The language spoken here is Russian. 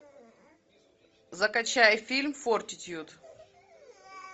закачай фильм фортитьюд